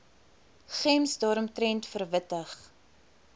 gems daaromtrent verwittig